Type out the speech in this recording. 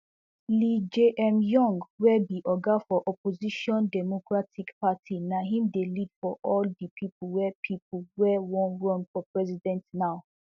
lee jaemyung wey be oga for opposition democratic party na im dey lead for all di people wey people wey wan run for president now